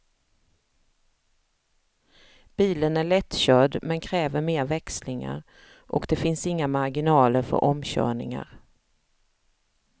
Bilen är lättkörd men kräver mer växlingar, och det finns inga marginaler för omkörningar.